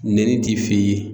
Nɛni ti f'e ye.